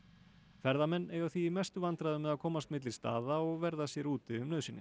ferðamenn eiga því í mestu vandræðum með að komast milli staða og verða sér úti um nauðsynjar